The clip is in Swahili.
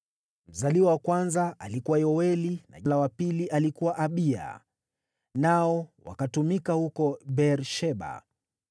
Mzaliwa wa kwanza alikuwa Yoeli, na la wa pili lilikuwa Abiya, nao wakatumika huko Beer-Sheba.